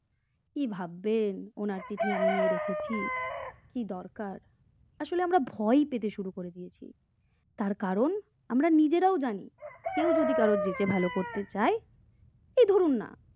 কি ভাববেন উনি উনার চিঠি আমি নিয়ে রেখেছি আসলে আমরা ভয় পেতে শুরু করে দিয়েছি আর কারণ আমরা নিজেরাও জানি কেউ যদি কারোর যেচে ভালো করতে চাই এই ধরুন না